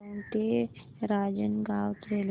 दौंड ते रांजणगाव रेल्वे